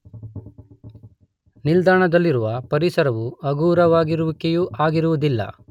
ನಿಲ್ದಾಣದಲ್ಲಿರುವ ಪರಿಸರವು ಹಗುರವಾಗಿರುವಿಕೆಯೂ ಆಗಿರುವುದಿಲ್ಲ